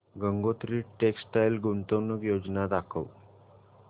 Gangotri textile गुंतवणूक योजना दाखव